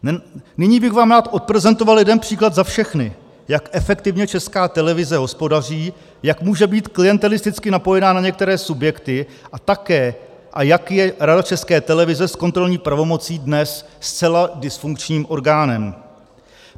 Nyní bych vám rád odprezentoval jeden příklad za všechny, jak efektivně Česká televize hospodaří, jak může být klientelisticky napojená na některé subjekty a také jak je Rada České televize s kontrolní pravomocí dnes zcela dysfunkčním orgánem.